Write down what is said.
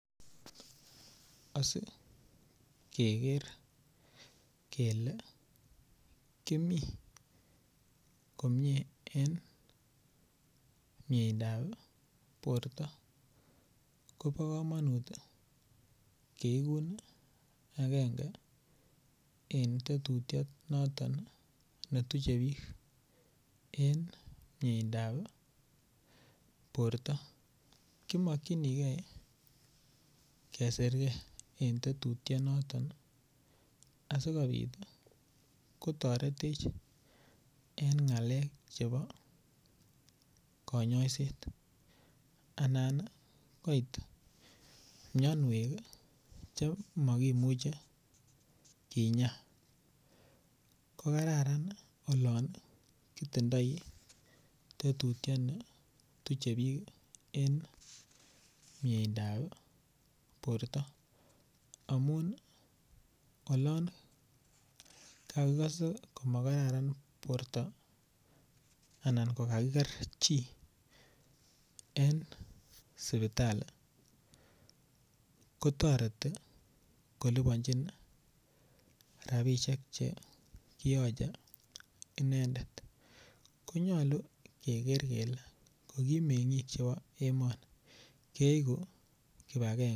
Asikeker kele kimi komie en miendab borto kobokomonut keikun agenge en tetutionoton netiche bik en miendab borto kimokchinigee kesir kee en tetutionoto asikobit kotoretech en ngalek chebo konyoiset anan koit mionuok chemokimuche kinyaa kokararan olon itindoi tetutioni tuche bik en miendab borto amun olon tokuikose komakararan borto anan kokakiker chi en sipitali kotoreti kolibonjin rabishek chekiyoche inendet konyolu keker kele kokimengik chebo emoni keiku kipagenge.